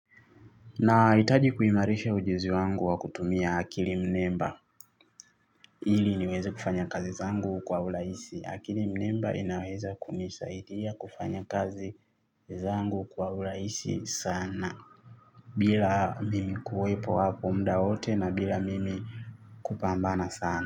Nahitaji kuimarisha ujuzi wangu wa kutumia akili mnemba ili niweze kufanya kazi zangu kwa urahisi akili mnemba inaweza kunisaidia kufanya kazi zangu kwa uraisi sana. Bila mimi kuwepo hapo mda wote na bila mimi kupambana sana.